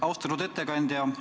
Austatud ettekandja!